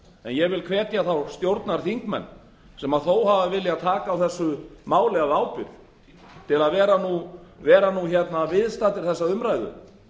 ég vil hvetja þá stjórnarþingmenn sem þó hafa viljað taka á þessu máli af ábyrgð til að vera viðstaddir þessa umræðu